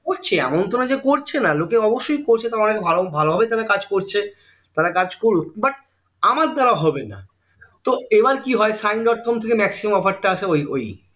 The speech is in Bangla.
করছে এমন তো না যে করছে না লোকে অবস্যই করছে তারা অনেক ভালো ভালোভাবে কাজ করছে তারা কাজ করুক but আমার দ্বারা হবে না তো এইবার কি হয় সাইন ডট কম থেকে maximum offer টা আসে ওই